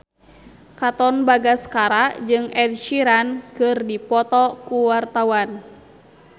Katon Bagaskara jeung Ed Sheeran keur dipoto ku wartawan